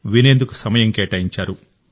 వినేందుకు సమయం కేటాయించారు